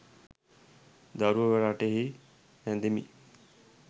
දරුව රටෙහි රැදෙමින්